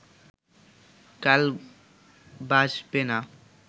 কাল বাসবে না